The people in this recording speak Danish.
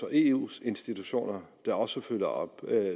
eus institutioner der også følger op